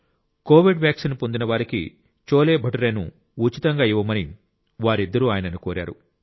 Covid vaccine పొందిన వారికి చోలేభతురే ను ఉచితంగా ఇవ్వమని వారిద్దరూ ఆయనను కోరారు